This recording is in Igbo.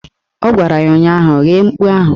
Ọ gwara ya ụnyaahụ "Ghee mkpu ahụ"!